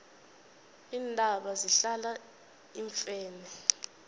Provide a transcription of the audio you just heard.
iintaba zihlala iimfene